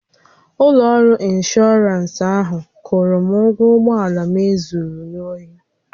Ụlọ ọrụ ịnshọọransị ahụ kwụrụ m ụgwọ ụgbọala m e zuru n'ohi